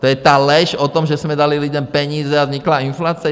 To je ta lež o tom, že jsme dali lidem peníze a vznikla inflace?